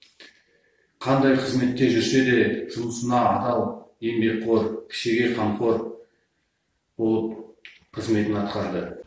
қандай қызметте жүрсе де жұмысына адал еңбекқор кішіге қамқор болып қызметін атқарды